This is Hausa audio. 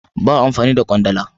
Ba a amfani da kwandala.